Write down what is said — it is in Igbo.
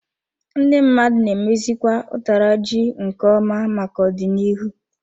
Ndị mmadụ na emezikwa utara ji nke ọma maka ọdịnihu.